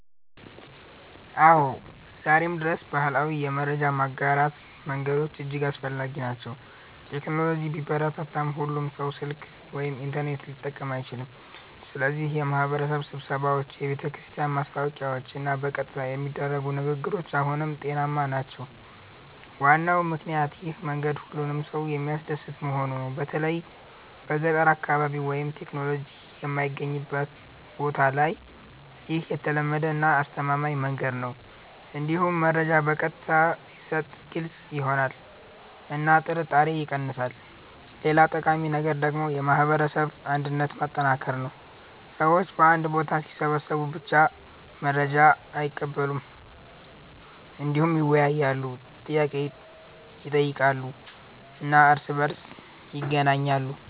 አዎ፣ ዛሬም ድረስ ባህላዊ የመረጃ ማጋራት መንገዶች እጅግ አስፈላጊ ናቸው። ቴክኖሎጂ ቢበረታም ሁሉም ሰው ስልክ ወይም ኢንተርኔት ሊጠቀም አይችልም፣ ስለዚህ የማህበረሰብ ስብሰባዎች፣ የቤተክርስቲያን ማስታወቂያዎች እና በቀጥታ የሚደረጉ ንግግሮች አሁንም ውጤታማ ናቸው። ዋናው ምክንያት ይህ መንገድ ሁሉንም ሰው የሚያደርስ መሆኑ ነው። በተለይ በገጠር አካባቢ ወይም ቴክኖሎጂ የማይገኝበት ቦታ ላይ ይህ የተለመደ እና አስተማማኝ መንገድ ነው። እንዲሁም መረጃ በቀጥታ ሲሰጥ ግልጽ ይሆናል እና ጥርጣሬ ይቀንሳል። ሌላ ጠቃሚ ነገር ደግሞ የማህበረሰብ አንድነትን ማጠናከር ነው። ሰዎች በአንድ ቦታ ሲሰበሰቡ ብቻ መረጃ አይቀበሉም፣ እንዲሁም ይወያያሉ፣ ጥያቄ ይጠይቃሉ እና እርስ በእርስ ይገናኛሉ።